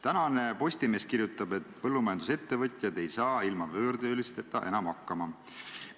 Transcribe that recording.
Tänane Postimees kirjutab, et põllumajandusettevõtjad ei saa ilma võõrtöölisteta enam hakkama.